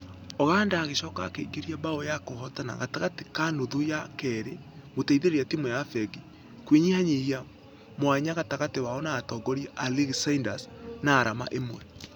Oganda agĩcoka akĩingĩria bao ya kũhotana gatagatĩ ga nuthu ya kerĩ gũteithereria timũ ya fengi kũnyihanyihia mwanya gatagatĩ wao na atongoria a rigi ciders naarama ĩmwe.